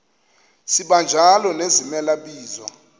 sibanjalo nezimela bizo